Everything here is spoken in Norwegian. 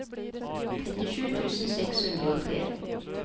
trettisju tusen seks hundre og tre